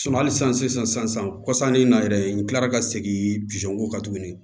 hali sisan sisan kɔsan in na yɛrɛ n kilara ka segin ko kan tuguni